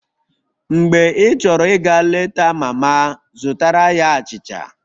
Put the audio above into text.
Mgbe ịchọrọ ịga leta mama, zụtara ya achịcha